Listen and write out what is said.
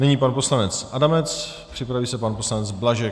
Nyní pan poslanec Adamec, připraví se pan poslanec Blažek.